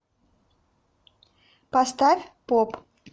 поставь поп